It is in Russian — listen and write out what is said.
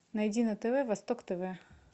найди на тв восток тв